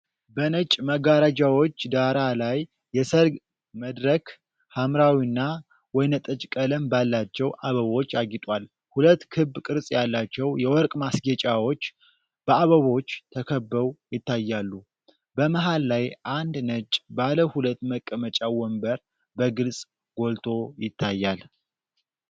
በነጭ መጋረጃዎች ዳራ ላይ የሠርግ መድረክ በሐምራዊና ወይንጠጅ ቀለም ባላቸው አበቦች አጊጧል። ሁለት ክብ ቅርጽ ያላቸው የወርቅ ማስጌጫዎች በአበቦች ተከበው ይታያሉ። በመሃል ላይ አንድ ነጭ ባለ ሁለት መቀመጫ ወንበር በግልጽ ጎልቶ ይታያል።